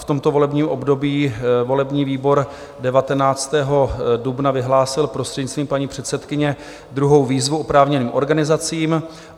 V tomto volebním období volební výbor 19. dubna vyhlásil prostřednictvím paní předsedkyně druhou výzvu oprávněným organizacím.